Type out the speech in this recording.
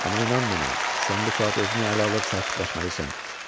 Amma inan mənə, sən bu saat özünü ələ alıb sakitləşməlisən.